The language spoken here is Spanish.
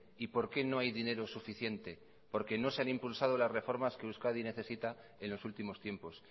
y por qué no hay dinero suficiente porque no se han impulsado las reformas que euskadi necesita en los últimos tiempos